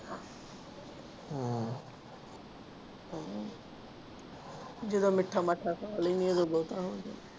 ਹਮ ਜਦੋਂ ਮਿੱਠਾ ਮਾਠਾ ਖਾ ਲੈਂਦੀ ਹਾਂ ਉਦੋਂ ਬਹੁਤਾ ਹੋ ਜਾਂਦਾ।